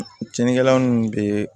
Cɛnnikɛla nunnu bɛ